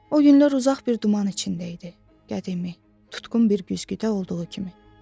O günlər uzaq bir duman içində idi, qədimi, tutqun bir güzgüdə olduğu kimi.